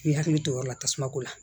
U hakili to yɔrɔ la tasuma ko la